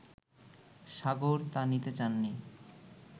সাগর তা নিতে চাননি